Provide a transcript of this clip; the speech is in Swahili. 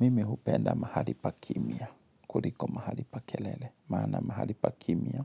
Mimi hupenda mahali pa kimya, kuliko mahali pa kelele. Maana mahali pa kimya,